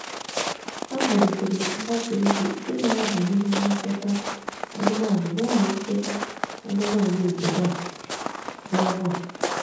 Ha malitere mgbasa ozi ịmara banyere nlekọta anụmanụ n'ụlọ nchekwa anụmanụ obodo a n’ọnwa a